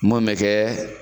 Mun bɛ kɛ